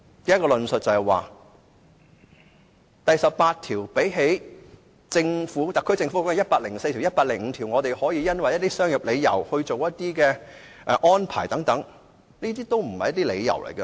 根據同一個道理，即第十八條與跟特區政府有關的第一百零四條或第一百零五條比較，因商業理由作出安排等，這些都不是理由。